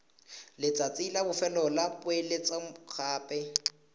letsatsi la bofelo la poeletsogape